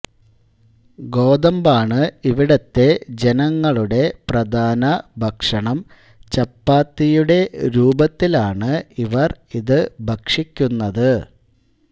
ഗോതമ്പാണ് ഇവിടത്തെ ജനങ്ങളുടെ പ്രധാന ഭക്ഷണം ചപ്പാത്തിയുടെ രൂപത്തിലാണ് ഇവർ ഇത് ഭക്ഷിക്കുന്നത്